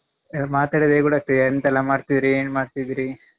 ಅಹ್ ಮಾತಾಡಿದಾಗೆ ಕೂಡ ಆಗ್ತದೆ ಎಂತೆಲ್ಲ ಮಾಡ್ತಿದ್ರಿ ಏನ್ ಮಾಡ್ತಿದ್ದೀರಿ?